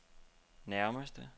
nærmeste